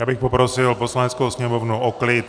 Já bych poprosil Poslaneckou sněmovnu o klid.